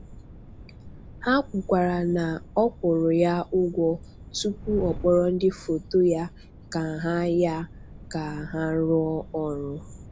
Ha kwukwara na a kwụrụ ya ụgwọ tupu a kpọrọ ndị foto ya ka ha ya ka ha rụọ ọrụ.